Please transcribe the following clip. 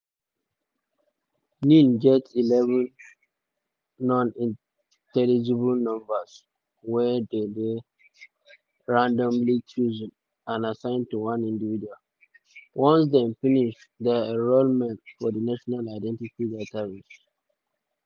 nin get eleven non-intelligible numbers wey dey randomly chosen and assigned to one individual once dem finish dia enrolment for di national identity database (nidb).